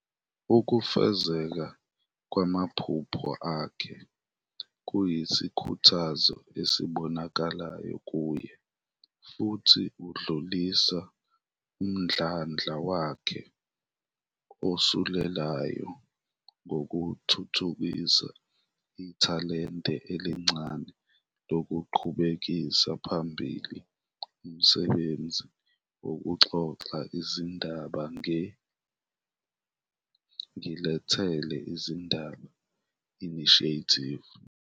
Ukufezekiswa kwamaphupho akhe kuyisikhuthazo esibonakalayo kuye futhi udlulisa umdlandla wakhe osulelayo ngokuthuthukisa ithalente elincane lokuqhubekisela phambili umsebenzi wokuxoxa izindaba nge-"Ngilethele izindaba" Initiative.